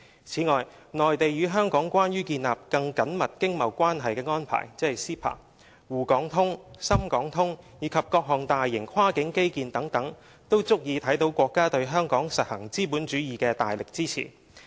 此外，"內地與香港關於建立更緊密經貿關係的安排"、"滬港通"、"深港通"，以及各項大型跨境基建等，都足以看見國家對香港實行資本主義的大力支持。